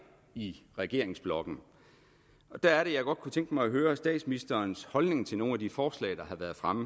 i regeringsblokken der er det jeg godt kunne tænke mig at høre statsministerens holdning til nogle af de forslag der har været fremme